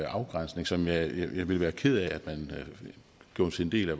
afgrænsning som jeg ville være ked af at man gjorde til en del af